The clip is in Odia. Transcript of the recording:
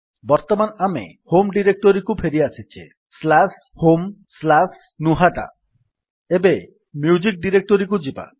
ବର୍ତ୍ତମାନ ଆମେ ହୋମ୍ ଡିରେକ୍ଟୋରୀକୁ ଫେରିଆସିଛେ homegnuhata ନ୍ୟାରେସନ୍ ସ୍ଲାସ୍ ହୋମ୍ ସ୍ଲାସ୍ ନୁହାଟା ଏବେ ମ୍ୟୁଜିକ୍ ଡିରେକ୍ଟୋରୀକୁ ଯିବା